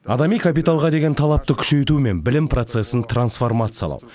адами капиталға деген талапты күшейту мен білім процесін трансформациялау